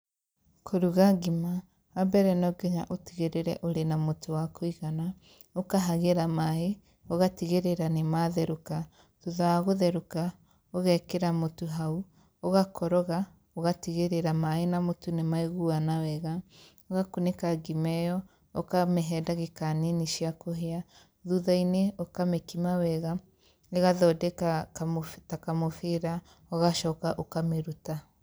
Kũruga ngima, wa mbere no nginya ũtigĩrĩre ũrĩna na mũtu wa kũigana, ũkahagĩra maĩ, ũgatigĩrĩra nĩ matherũka, thutha wa gũtherũka, ũgekĩra mũtu hau, ũgakoroga, ũgatigĩrĩra maĩ na mũtu nĩmaiguana wega, ũgakunĩka ngima ĩo, ũkamĩhe ndagika nini cia kũhĩa, thuthainĩ, ũkamĩkima wega, ĩgathondeka ta kamũbira, ũgacoka ũkamĩruta.